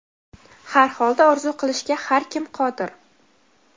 Har holda orzu qilishga har kim qodir.